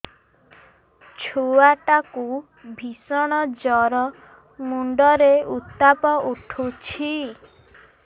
ଛୁଆ ଟା କୁ ଭିଷଣ ଜର ମୁଣ୍ଡ ରେ ଉତ୍ତାପ ଉଠୁଛି